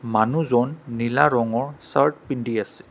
মানুহজন নীলা ৰঙৰ চাৰ্ট পিন্ধি আছে।